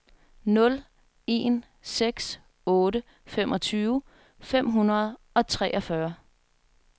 nul en seks otte femogtyve fem hundrede og treogfyrre